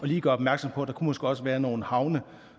lige gør opmærksom på at der måske også kunne være nogle havne